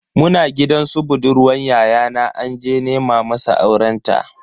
Muna gidan su budurwan yayana anje nema masa aurenta.